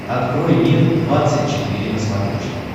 открой мир двадцать четыре на смотрешке